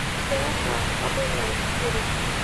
Keeta pookingae siri.